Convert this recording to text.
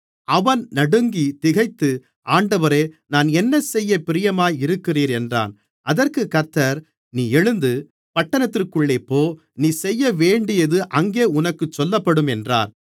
அவன் நடுங்கித் திகைத்து ஆண்டவரே நான் என்ன செய்ய பிரியமாக இருக்கிறீர் என்றான் அதற்குக் கர்த்தர் நீ எழுந்து பட்டணத்திற்குள்ளே போ நீ செய்யவேண்டியது அங்கே உனக்குச் சொல்லப்படும் என்றார்